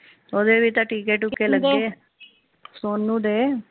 ਓਹਦੇ ਵੀ ਤਾ ਟਿੱਕੇ ਟੁਕੇ ਲਗੇ ਸੋਨੂ ਦੇ